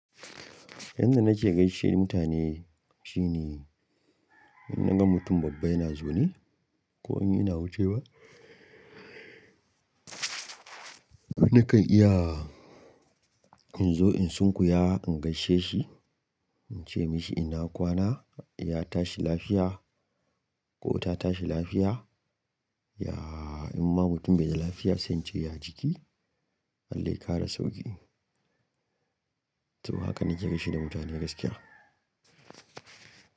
Yanda nake gaishe mutane shine in naga mutum babba yana zaune ko in yana wucewa. Nakan iya in zo in sunkuyawa in gaishe shi, in ce mashi in na kwana, ya tashi lafiya ko ta tashi lafiya. Ya in ma mutum bai da lafiya sai in ce ya jiki, Allah ya ƙara sauƙi. To haka nake gaishe da mutane gaskiya.